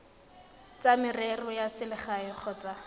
tsa merero ya selegae kgotsa